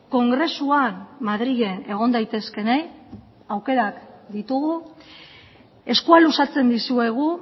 kongresuan madrilen egon daitezkeenei aukerak ditugu eskua luzatzen dizuegu